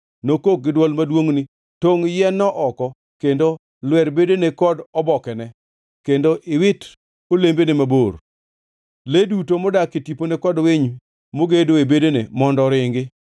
Nokok gi dwol maduongʼ ni, ‘Tongʼ yien-no oko kendo lwer bedene kod obokene kendo iwit olembene mabor. Le duto modak e tipone kod winy mogedo e bedene mondo oringi.